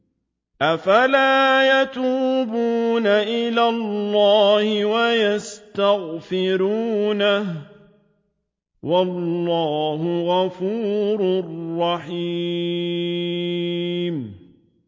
أَفَلَا يَتُوبُونَ إِلَى اللَّهِ وَيَسْتَغْفِرُونَهُ ۚ وَاللَّهُ غَفُورٌ رَّحِيمٌ